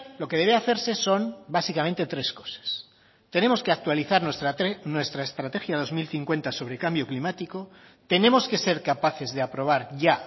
lo que debe hacerse son básicamente tres cosas tenemos que actualizar nuestra estrategia dos mil cincuenta sobre cambio climático tenemos que ser capaces de aprobar ya